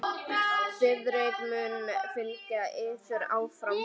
Friðrik mun fylgja yður áfram.